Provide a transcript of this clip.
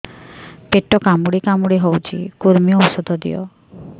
ପେଟ କାମୁଡି କାମୁଡି ହଉଚି କୂର୍ମୀ ଔଷଧ ଦିଅ